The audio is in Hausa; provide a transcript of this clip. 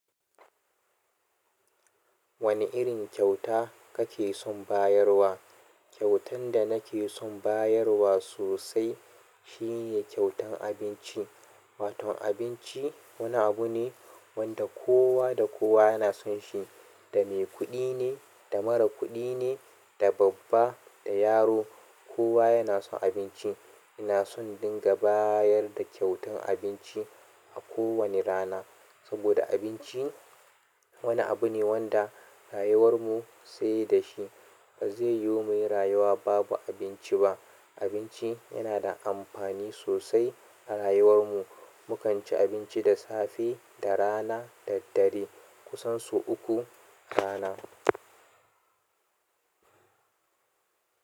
Wane irin kyauta kake son bayarwa? Kyautan da nake son bayarwa sosai shine kyautan abinci. Wato abinci wani abu ne wanda kowa da kowa yana son shi. Da mai kuɗi ne, da mara kuɗi ne, da babba, da yaro kowa yana son abinci. Ina son dinga bayar da kyautan abinci a ko wane rana. Saboda abinci wani abu ne wanda rayuwar mu sai da shi. Ba zai yiwu muyi rayuwa babu abinci ba. Abinci yana da amfani sosai a rayuwar mu. Mukan ci abinci da safe, da rana, da dare. Kusan sau uku a rana.